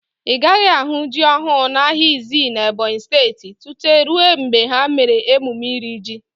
Ị gaghị ahụ ji ọhụụ n'ahịa Izii n'Ebonyi Steeti tutu rue mgbe ha mere emume iri ji.